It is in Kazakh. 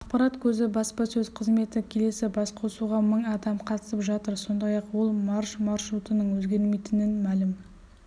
ақпарат көзі баспасөз қызметі келелі басқосуға мың адам қатысып жатыр сондай-ақ ол марш маршрутының өзгермейтінін мәлім